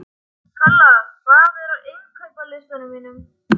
Kalla, hvað er á innkaupalistanum mínum?